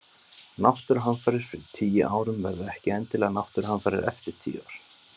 Náttúruhamfarir fyrir tíu árum verða ekki endilega náttúruhamfarir eftir tíu ár.